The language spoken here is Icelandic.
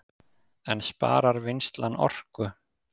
En sparar vinnslan orku